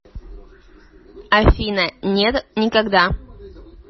афина нет никогда